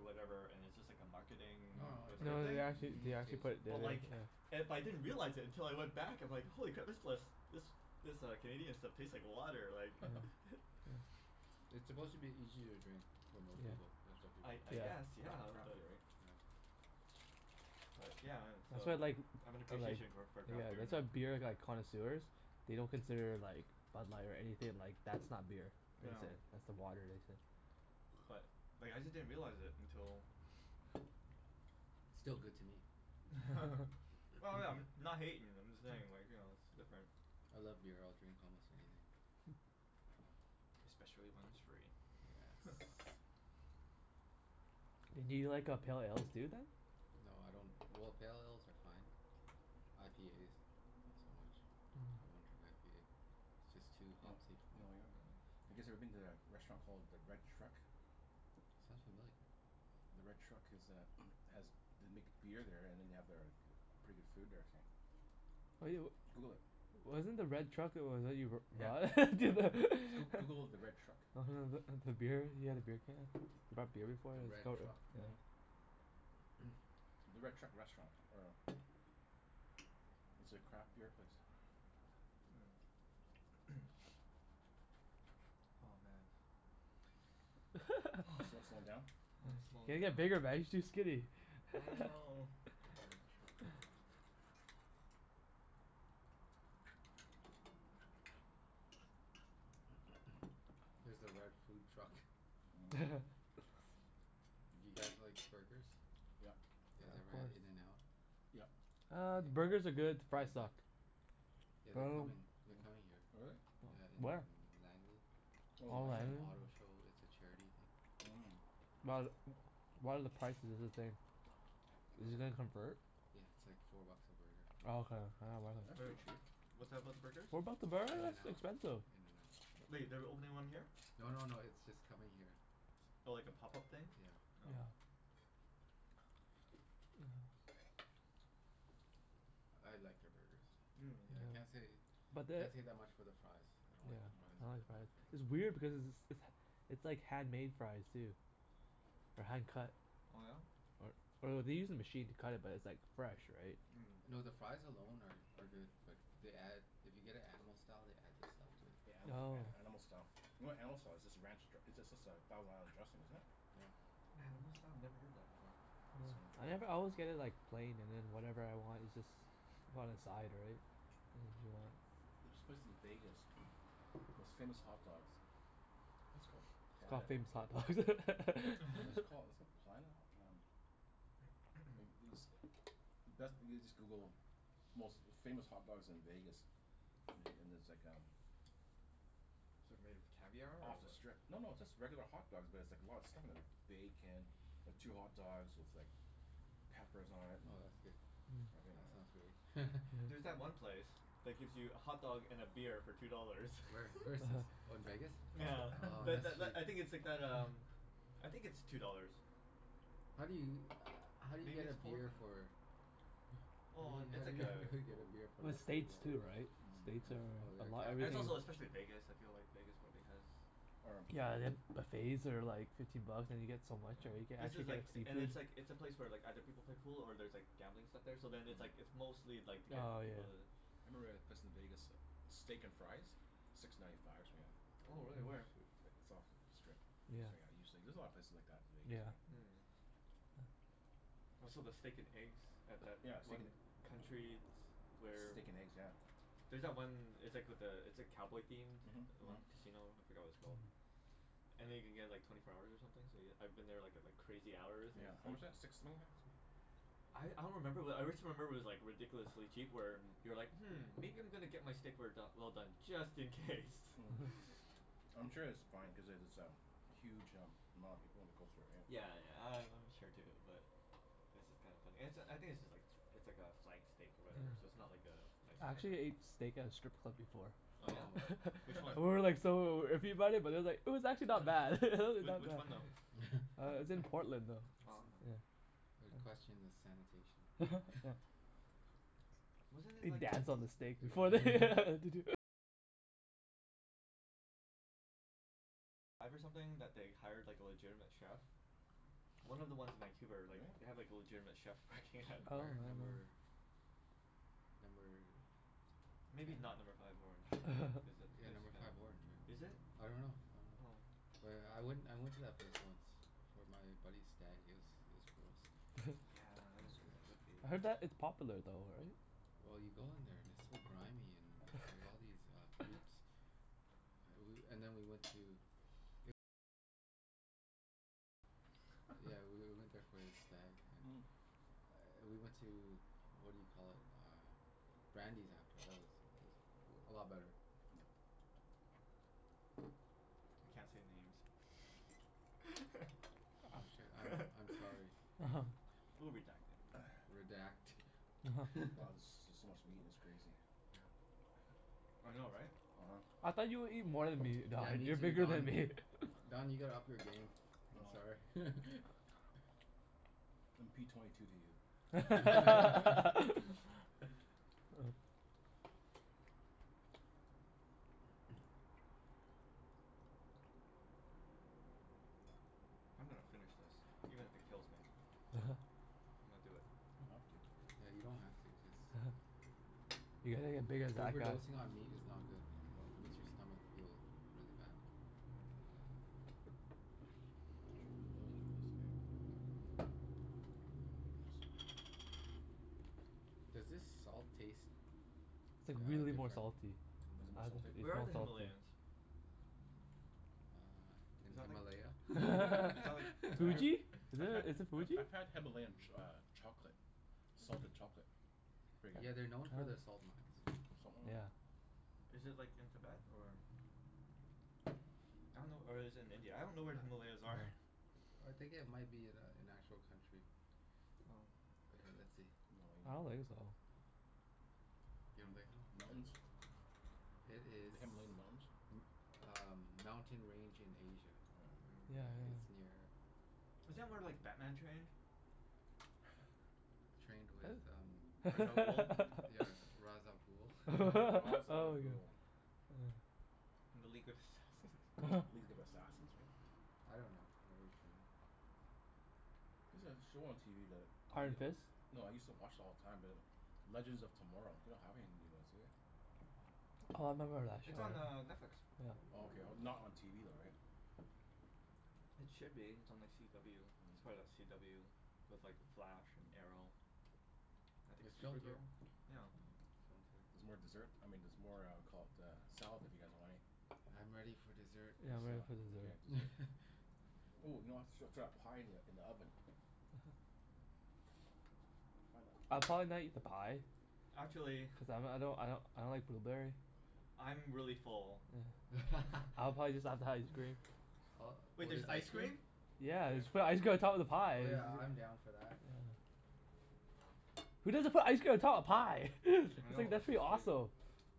whatever, and it's just like a marketing No no, it's No whatever th- thing. they a actually they unique actually taste. put it d- But d- like yeah. it, but I didn't realize it until I went back I'm like, Mhm. holy crap, this lis- this this uh Canadian stuff tastes like water, like Yeah, yeah. It's Cra- supposed to be easier to drink for most Yeah. people, that's why people I I mo- guess, Yeah. yeah, craft but beer, right? Yeah. but yeah and That's so why I like I have an I like appreciation go- for Yeah, craft beer that's why now. beer like connoisseurs they don't consider like Bud Light or anything, like that's not beer. That's Yeah. it, that's the water they say. But like I just didn't realize it until Still good to me. Well no, I'm not hatin', I'm just saying like, you know, it's different. I love beer. I'll drink almost anything. Especially when it's free. Yes. Do you like uh pale ales too, then? No, I don't, well, pale ales are fine. IPAs not so much. I Mm. won't drink IPA. Just Yeah. You too kn- hopsy for me. w- Mm. you guys ever Yeah. been to a restaurant called the Red Truck? Sounds familiar. The Red Truck is uh has, they make beer there and then they have their pretty good food they were saying. What do yo- Google it. Wasn't the Red Truck Yeah. Yeah. Goo- Google the Red Truck. Mhm. beer, you had a beer can? You brought beer before The and it was Red no- Truck? yeah. The Red Truck Restaurant or It's a craft beer place. Mm. Oh man. Slo- slowing down? I'm You slowin' gotta down. get bigger man. You're too skinny. I know. The Red Truck. Here's the Red Food Truck. Mm. Do you guys like burgers? Yep. You Yeah, guys of ever had course. In and Out? Yep. Uh, the burgers are good. The You fries guys like suck. Oh Yeah, But I they're dunno coming, they're coming here. really? Yeah, in Where? Langley. To Oh, Oh, some Langley. auto Langley? show. It's a charity thing. But, what are the prices is this day? Uh, Is it gonna Mm. convert? yeah, it's like four bucks a burger. Oh, okay. Yeah, I wasn't. That's Wait, pretty cheap. what's that about the burgers? What about the burgers? In and That's Out. expensive. In and Out. Wait, they're opening one here? No no no, it's just coming here. Oh, like a pop-up thing? Yeah. Oh. Yeah. I liked their burgers. Yeah, Yeah. can't say But the can't say that much for their fries. I don't Yeah, like their Mhm. fries, I don't like but the I like Mm. fries. their It's burgers. weird because it's it's it's it's like handmade fries, too. Or hand cut. Oh yeah? Or or they use a machine to cut it but it's like fresh, right? Mm. No, the fries alone are are good but they add, if you get it Animal Style they add this stuff to it. Yeah, anima- Oh. a- animal Yeah. style. You know what animal style is? It's just a ranch dr- it's just a thousand island dressing, isn't it? Yeah. Animal style? Never heard that before. Oh. I never always get it like plain and then whatever I want is just on the side, right? There's this place in Vegas most famous hot dogs. I think it's called It's called Planet Famous Hot Dogs. What was it called? It's called Planet Ho- um like these, best, you just Google most famous hot dogs in Vegas. Me- and there's like um It's like made of caviar, or Off the what? strip. No, no, it's just regular hot dogs but it's like a lot of stuff on them. Bacon. Two hot dogs with like peppers on it and Oh, that's good. Mm. everything Yeah, on that sounds it. great. There's that Yeah. Mm. one place that gives you a hotdog and a beer for two dollars. Where? Where is this? Oh, in Vegas? Nyeah. Oh, Tha- tha- that's l- I sweet. think it's like that um I think it's two dollars. How do you, how do you Maybe get a it's four now. beer for Well i- how it's do like you, how a do you get a goo- beer for Well, less than two States too, dollars? right? States Mm. Oh, oh are a yeah, lot Right. And it's everything capital also especially Vegas, I feel like Vegas probably has Or Yeah, and then buffets are like fifteen bucks and you get so much, Yeah. right? You can This actually is like get and seafood. it's like, it's a place where like other people play pool or there's like gambling stuff there so then it's like Mm. it's mostly like to get Oh, yeah. people to I remember a place in Vegas, Steak and Fries? Six ninety five or something like that. Oh Oh, really? Where? shoot. Like, it's off of the strip. Yeah. There's a lot of places like that in Vegas, right? Yeah. Mm. Oh, so the steak and eggs at that Yeah, steak and one country s- where Steak and eggs, yeah. There's that one, it's like with the, it's like cowboy themed? Mhm. The Mhm. one casino? I forgot what it's called. Mm. And then you can get like twenty four hours or something so y- I've been there like at like crazy hours and Yeah, it's just how like much that? Six swing that? I I don't remember, but I wrist remember it was like ridiculously cheap where Mhm. you're like "Hmm, maybe I'm gonna get my steak rare do- well done just in case." Mm. I'm sure it's fine cuz it it's a huge um amount of people in the coastal area. Yeah, yeah, I I'm sure too but It's just kinda funny. And it's a, I think it's just like it's like a flank steak or whatever, so it's Mm. not like a nice I cut or actually anything. ate steak at a strip club before. Oh yeah? Oh. Which one? And we were like so iffy about it, but it's like it was actually not bad. W- Not which one bad. though? Uh it's in That's Portland though. Oh, huh. It's, yeah. I would Yeah. question the sanitation. Yeah. Wasn't it They like dance on the steak before they Yeah. One of the ones in Vancouver, like, they have Really? like a legitimate chef working at Oh. No. Where? Number number Maybe not Number ten? Five Orange cuz that Yeah, place is Number kinda, Five Orange, right? is it? I dunno. I dunno. Oh. But I went I went to that place once It for my buddy's stag. It was it was gross. Yeah, it would was gross. I heard be. that it's popular though, right? Well you go in there and it's so grimy, and there's like all these uh boobs. Ah woo- and then we went to Yeah, we w- went there for his stag and we went to, what do you call it? Uh Brandi's after. That was that was a lot better. We can't say names. Oh shit, I'm I'm sorry. We'll redact it. Redact. Wow, this is just so much meat it's crazy. Yeah. I know, right? uh-huh. I thought you would eat more than me, Yeah, Don. me You're too bigger than Don. me. Don, you gotta up your game. I'm sorry. Oh. I'm p twenty two to you. Oh. I'm gonna finish this even if it kills me. I'm gonna do it. You don't have to. Yeah, you don't have to. Just You gotta get big as that guy. Overdosing on meat is not good. I- No. it makes your stomach feel really bad. Mm. Does this salt taste It's like uh really more different? salty. Is it more I don- salty? it's Where are more the salty. Himalayans? Uh, Is in that like Himalaya? Is that like I had, Tibet? Fuji? Is I've it had is it I've Fuji? I've had Himalayan ch- uh chocolate. Salted chocolate. Pretty Yeah, good. they're known Oh. for their salt Salt mines. mm. Yeah. Is it like in Tibet, or I dunno or is it in India? I don't know where the Himalayas are. I think it might be an a- an actual country. Oh. Okay, let's see. I don't Himalayan. think so. You don't think so? M- Okay, mountains? let's see. It is The Himalayan Mountains? m- uh mountain range in Asia. Yeah, Yeah, yeah. it's near Mm. Isn't that where like Batman trained? Trained with um I- Ra's al Ghul. Yeah, Ra's al Ghul? Yeah. Ra- Ra's al Oh my god. Ghul. Ah. And the League of Assassins. League of Assassins, right? Yeah. I dunno where he trained. There's a show on TV that y- Iron Fist? no, I used to watch it all the time be like Legends of Tomorrow. They don't have any new ones, do they? Mm. Oh, I remember that It's on uh show. Netflix. Yeah. Oh, okay. Not on TV though, right? Mm. It should be. It's on like CW. It's part of that CW with like The Flash, and Arrow. I think It's it's filmed here. Supergirl? Yeah. It's filmed here. Mhm. There's more dessert, I mean there's more uh caul- uh, salad if you guys want any? I'm ready for dessert. Yeah, I I'm saw. ready for Okay, dessert. dessert. Ooh, you know I srut srut that pie in the in the oven. uh-oh. Find that I'll pie. probably not eat the pie. Huh? Actually Cuz I m- I don't I don't I don't like blueberry. I'm really full. Yeah. I'll probably just have the ice cream. Uh, Wait, or there's just ice ice cream? cream? Yeah. Yes Just put ice cream on top of the pie Oh is yeah, I'm down for that. Yeah, yeah. Who doesn't put ice cream on top of pie? I It's know, like that's that's pretty just crazy. awesome.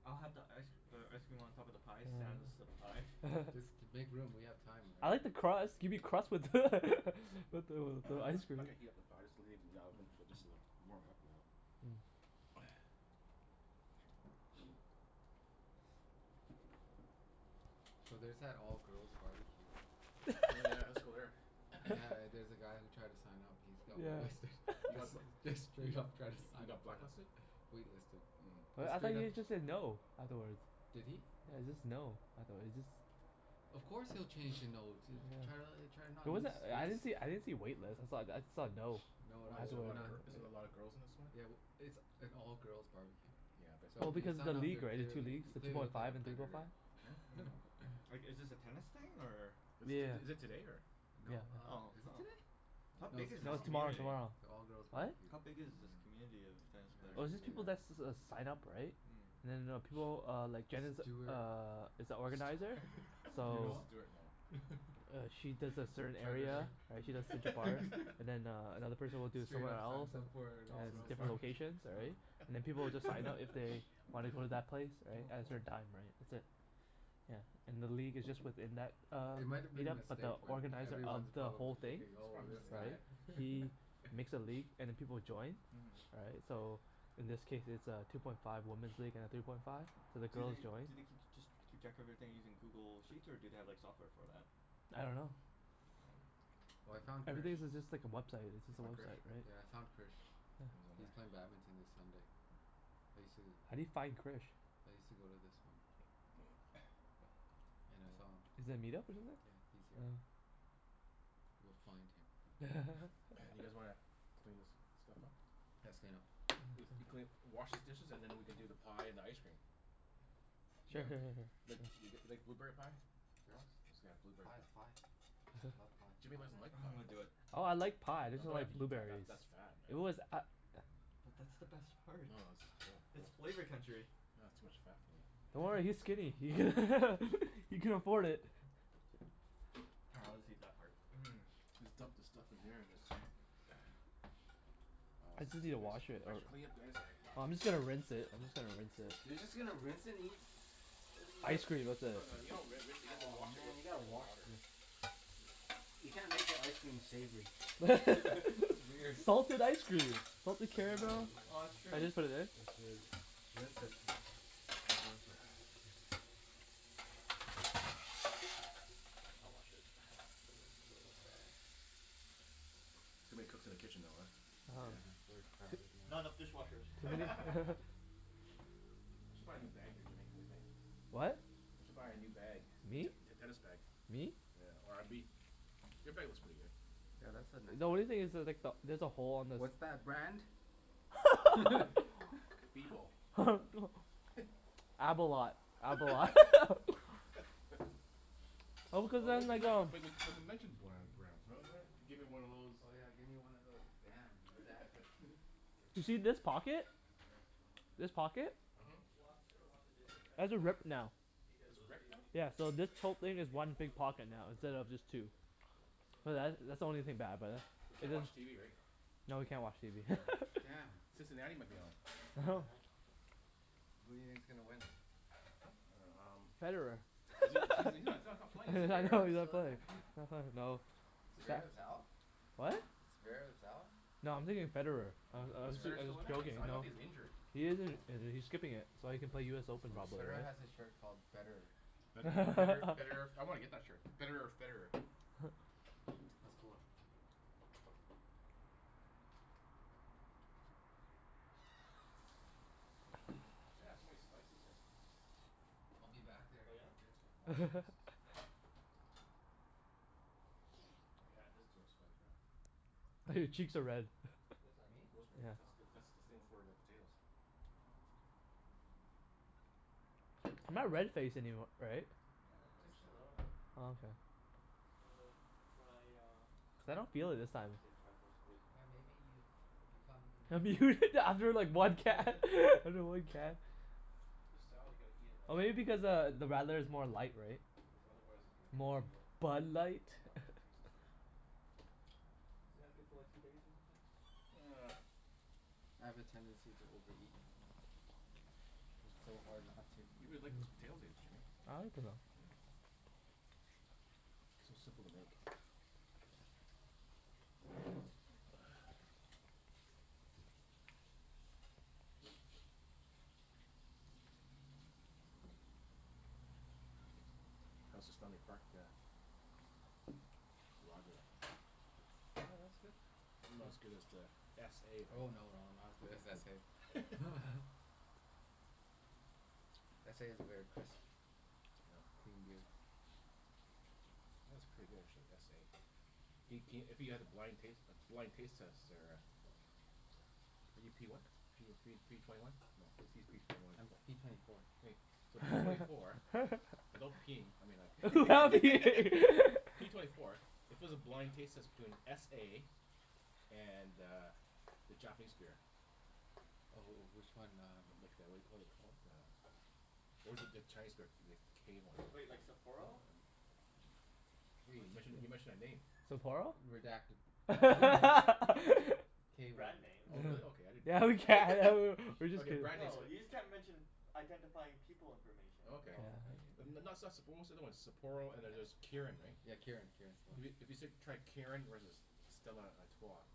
I'll have the ice uh ice cream on top of the pie Yeah. sans Yeah. the pie. Just to make room. We have time, I right? like Mm. the crust. Gimme crust with with the with the I'm not ice cream. not gonna heat up the pie. Just leave it in the oven for just a little warm it up a bit. Mm. Oh yeah. Make sure So there's that all girls barbecue. Oh yeah, let's go there. Yeah, there's a guy who tried to sign up he's got wait listed. Yeah. He Just got bl- just straight up tried to he sign up got for blacklisted? that. Wait listed. Mm. Wait, Just I thought straight up he just said no afterwards? Did he? Yeah, it's just no, I thought it just Of course he'll change to no, to try to l- try Yeah. not It to lose wasn't, I didn't see, face. I didn't see a wait list. I saw, I saw a no. No, no, Why is That's there a what we're lot I of not gir- heard. is there a lot of girls in this one? Yeah, w- it's an all girls barbecue. Yeah, but So Well, if you because of the sign up league, you're right? The two clearly, leagues. you The two clearly point look like a five and three point five. predator. Huh? Mm. Like, is this a tennis thing, or Is this is is it today, or No, Yeah. uh Oh, is it oh. today? How I don't No, big it's is this No, know. tomorrow. Me tomorrow community? tomorrow. It's an all girls What? barbecue. How big is this Mm. community of tennis Here, I'll players? Oh, show it's you just the people that guy. s- s- s- sign up, right? Mm. And then I know people uh, like Jen is Stewart Stew- uh, is a organizer. Stu- Do you So know Stuart? No. him? uh she does a A certain area. predator. Right? She does Mhm. Central Park. And then uh another person will do Straight somewhere up else. signs up for an And all it's girls different barbecue. locations, all right? uh-huh. And then people will just sign up if they wanna go to that place, right? Oh, As cool. her dime, right. That's it. Yeah. And the league is just within that uh, It might have been a meet-up but mistake, the but Yeah. organizer of everyone's It's the probably probably whole thing thinking, "Oh, a this Mhm. mistake. guy." right? He makes a league and then people will join Mhm. right? So in this case it's a two point five woman's league and a three point five. So the Do girls they, joy do they keep, just keep track of everything using Google Sheets, or do they have like software for that? I dunno. Oh. Oh, I found Krish. Everything's is just like a website. It's You just a find Krish? website, Yeah, I right? found Krish. He's Yeah. on He's there? playing badminton this Sunday. I sue How do you find Krish? I used to go to this one. And I saw him. Yeah. Is that a meet-up or something? Yeah, he's here. Oh. We'll find him. You guys wanna clean this stuff up? Let's clean up. If you clean, wash these dishes and then we can do the pie and ice cream. Yeah. Yeah. Sure sure sure sure. Like th- Yeah. g- like blueberry pie? Sure. It's got a blueberry Pie is pie. pie. I love pie. Jimmy Pie and doesn't like ice pie. I'm gonna cream. do it. Oh, I like pie. I No, just you don't don't have to like eat that. That blueberries. that's fat, It man. was a- i- But that's the best part. No, no that's It's real flavor gross. country. Aw, too much fat for me. Yeah, Don't worry, he's man. skinny. He can afford it. Ah I'll just eat that part. Mmm. Just dump the stuff in there and is Wow s- It's easy to wash thanks it thanks out. for cleaning up guys. Sorry. Oh, I'm just gonna rinse it. I'm just gonna rinse it. You're just gonna rinse and eat Ice cream with No it. no no, you don't ri- rinse it. You have to Oh wash it with man, you gotta soap and wash water. this. You can't make your ice cream savory. That's weird. Salted ice cream! Salted Salted caramel. ice No. Oh, that's cream. true. Can I just put it in? Let's do it. Rinse it. Can't rinse it. I'll wash it. Too many cooks in the kitchen though, uh? Yeah, uh-huh. we're crowded now. Not enough dishwashers. I should buy a new bag here Jimmy. Whaddya think? What? I should buy a new bag. Me t- Me? te- tennis bag. Me? Yeah, or abi- your bag looks pretty good. Yeah, that's a nice The only one. thing is there's like the, there's a hole on this What's that brand? B bowl. Abolat. Abolat. Oh, Oh cuz what then we they m- go but we we c- we mentioned bland brands really, right? Gimme one of those Oh yeah, give me one of those damn, redacted Do you see redacted. this pocket? Sure, I'll help rinse. This pocket? Mhm. Um, well I'm just gonna wash the dishes and the Has a forks rip now. because It's those are the ripped now? only things Yeah, that so we need this right whole now. Okay, thing is Everything else one can go sure. in big the pocket now, dishwasher for Mm. instead later, of right? just two. Sure. Cool. Assuming But the that that's dishwasher the only works. thing bad about it. We It can't didn't watch TV, right? No, we can't watch TV. Oh, damn. Damn. Cincinnati might be on. What the heck? Who do you think's gonna win? Huh? I dunno, um Federer. Is he is he he's not he's not playing, Is is he? I know Zverev he's not still in playing. there? I know. Stat Zverev's out? What? Zverev's out? No, I'm thinking of Federer. I'm Oh, I'm Is s- Federer Federer. I'm still in just there? He's, joking, I you thought know? he's injured? He is Yeah. in- injured. He's skipping it. So Oh, that he can play okay. US Open probably, Federer right? has a shirt called betterer. Bet- better betterer I wanna get that shirt. Betterer or Federer. That's cool. Sit in here. Jen has so many spices here. I'll be back there Oh in yeah? a bit. She has a lot of spices. I could add this to our spike rack. Oh, your cheeks are red. What is that? Me? Rosemary. Yeah. That's the, Oh. that's the thing Cool. for the potatoes. Oh. Jen doesn't I'm not have red-face rosemary? anym- right? Yeah. How could Just she a have not little ro- bit. not Oh, rosemary? okay. Just wanted to try uh Cuz I don't feel it this I time. wanna say the tri-force of wisdom Yeah, maybe but you've become That'd be immune? weird to after like one can after one can. This salad, you gotta eat it when Oh, it's maybe f- because uh, the radler is more light, right? Cuz otherwise it's gonna More congeal. Bud Light? Not not doesn't taste as good. Isn't it good for like two days or something? I have a tendency to overeat. It's so hard not to. You really like those Mm. potatoes, eh Jimmy? I like it though. Yeah. So simple to make. Yeah. How's the Stanley Park uh Lager? Yeah, that's good. Not as good as the s a Oh right? no, no, not as good as s a S a is a very crisp Yeah. clean beer. Yeah, it's pretty good actually. S a. Do c- if you had a blind taste blind taste test there uh Are you p what? P oh three p twenty one? No, I just use p twenty one and I'm twen- p twenty four. Hey, so p twenty four without peeing, I mean I c- Without peeing. P twenty four if it was a blind taste test between s a and uh, the Japanese beer Oh oh, which one? Um Like the whaddya call it you call it? Uh Or is it the Chinese beer? The k one. Wait, like Sapporo? Hey, you Which mentioned a, you mentioned a name. Sapporo? Redact- No, you can you can you can mention b- K one. brand names. Oh really? Okay. uh-huh. I didn't Yeah, we can! A know. w- w- we're just Okay, kidding. brand names No, you just a- can't mention identifying people information. Oh, okay. Oh, okay. Yeah N- n- not stuff Sap- but what's the other one? Sapporo and then there's Yeah. Kirin, right? Yeah, Kirin. Kirin's the one. If you if you s- tried Kirin versus Stella Artois